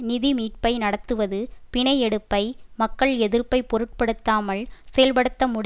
நிதி மீட்பை நடத்துவது பிணை எடுப்பை மக்கள் எதிர்ப்பை பொருட்படுத்தாமல் செயல்படுத்தப்பட